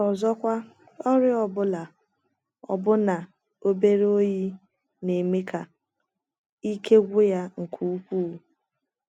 Ọzọkwa, ọrịa ọ bụla — ọbụna obere oyi — na - eme ka ike gwụ ya nke ukwụụ.